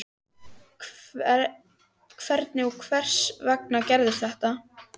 Hvernig og hvers vegna gerðist þetta?